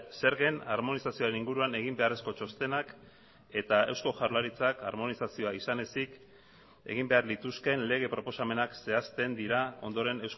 zergen armonizazioaren inguruan egin beharrezko txostenak eta eusko jaurlaritzak armonizazioa izan ezik egin behar lituzkeen lege proposamenak zehazten dira ondoren